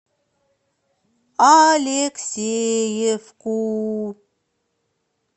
алексеевку